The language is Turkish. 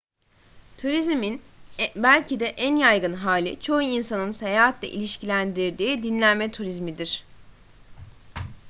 turizmin belki de en yaygın hali çoğu insanın seyahatle ilişkilendirdiği dinlenme turizmidir